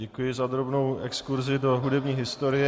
Děkuji za drobnou exkurzi do hudební historie.